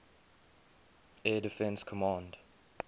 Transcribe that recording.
air defense command